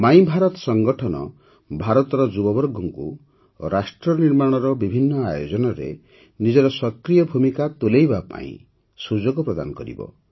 my Bharat ସଂଗଠନ ଭାରତର ଯୁବବର୍ଗଙ୍କୁ ରାଷ୍ଟ୍ରନିର୍ମାଣର ବିଭିନ୍ନ ଆୟୋଜନରେ ନିଜର ସକ୍ରିୟ ଭୂମିକା ତୁଲାଇବା ପାଇଁ ସୁଯୋଗ ପ୍ରଦାନ କରିବ